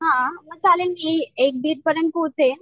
हा मग चालेल कि एक डिड पर्यंत पोहचेल